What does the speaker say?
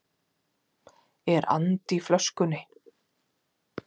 Er andi í flöskunni?